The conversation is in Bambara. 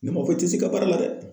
Ne ma fɔ i te se i ka baara la dɛ.